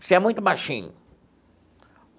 Você é muito baixinho.